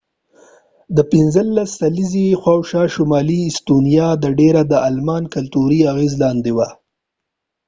د 15 سلیزی شاوخوا ،شمالی استونیا د ډیره د آلمان کلتوری اغیز لاندې وه